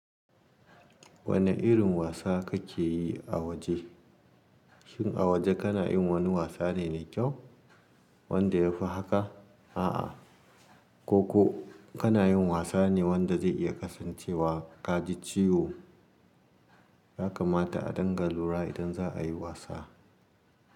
Wane irin wasa kake yi a waje? Shin a waje kana yin wani wasa ne mai kyau wanda ya fi haka? A'a, ko ko kana yin wasa ne wanda zai iya kasancewa ka ji ciwo. Ya kamata a danga lura idan za a yi wasa.